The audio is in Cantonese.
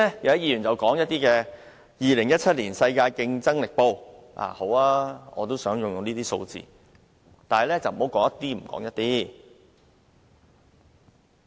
有議員剛才提到《2017年世界競爭力年報》的排名，但他們只說了一部分。